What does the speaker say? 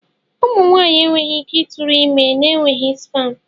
Ụmụ nwaanyị enweghị ike ịtụrụ ime n'enweghị spam.